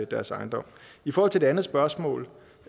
deres ejendom i forhold til det andet spørgsmål